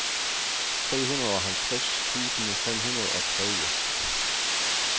treoghalvtreds tusind fem hundrede og tredive